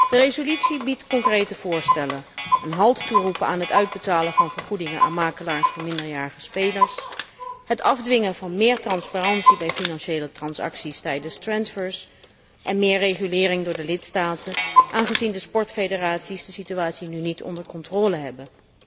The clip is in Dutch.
De resolutie biedt concrete voorstellen een halt toeroepen aan het uitbetalen van vergoedingen aan makelaars van minderjarige spelers, het afdwingen van meer transparantie bij financiële transacties tijdens transfers en meer regulering door de lidstaten aangezien de sportfederaties de situatie nu niet onder controle hebben.